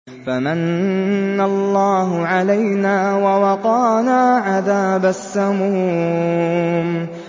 فَمَنَّ اللَّهُ عَلَيْنَا وَوَقَانَا عَذَابَ السَّمُومِ